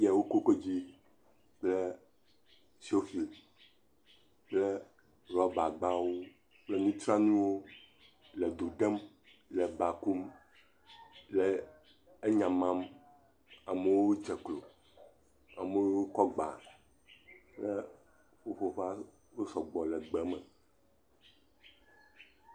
…woko kodzoe kple sofi kple rɔbagbawo kple nutsranuiwo le do ɖem, le ba kum le enyamam, amewo dze klo, amewo wo sɔgbɔ le gbe me.